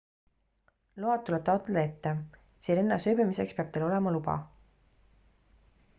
load tuleb taotleda ette sirenas ööbimiseks peab teil olema luba